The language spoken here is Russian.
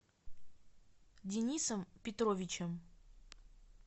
денисом петровичем